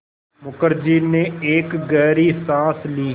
मुखर्जी ने एक गहरी साँस ली